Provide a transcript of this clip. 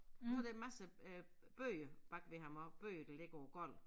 Og så der en masse øh bøger bagved ham og bøger der ligger på æ gulv